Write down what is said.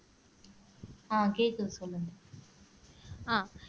அஹ் கேக்குது சொல்லுங்க